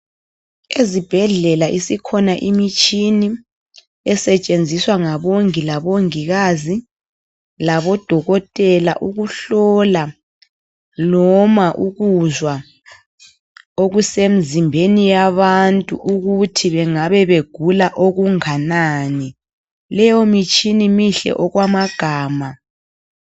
Ezibhedlela isikhona imitshina esetshenziswa ngabongi labomongikazi labodokotela ukuhlola noma ukuzwa okusemzimbeni yabantu ukuthi bengabe begula okunganani. Leyimitshina mihle okwamagama.